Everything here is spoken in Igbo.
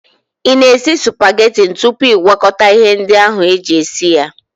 Ị na-esi supageti tupu ị gwakọta ihe ndị ahụ eji esi ya?